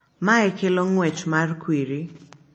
Mae kelo ng'wech mar kwiri